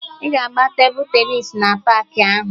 Ị ga-agba tebụl tenịs na paakị ahụ